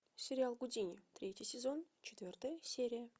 сериал гудини третий сезон четвертая серия